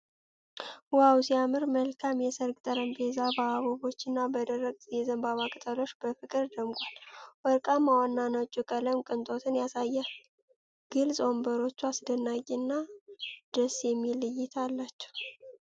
ዋው ሲያምር! መልካም የሰርግ ጠረጴዛ በአበቦች እና በደረቅ የዘንባባ ቅጠሎች በፍቅር ደምቋል። ወርቃማውና ነጩ ቀለም ቅንጦትን ያሳያል። ግልፅ ወንበሮቹ አስደናቂ እና ደስ የሚል እይታ አላቸው።